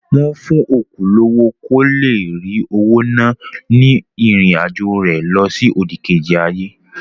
Wọ́n fún òkú lówó kó le rí owó ná ní ìrìn àjọ̀ rẹ lọsí òdìkejì ayé.